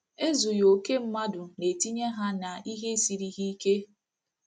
Ezughị okè mmadụ na-etinye ha nihe i siri ha ike.